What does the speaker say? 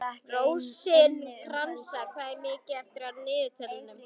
Rósinkransa, hvað er mikið eftir af niðurteljaranum?